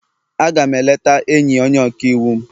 A ga m eleta enyi onye ọka iwu m